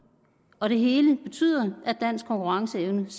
og det hele betyder at dansk konkurrenceevne